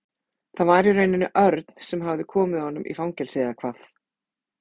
Það var í rauninni Örn sem hafði komið honum í fangelsi eða hvað?